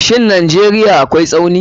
Shin Najeriya akwai Tsauni.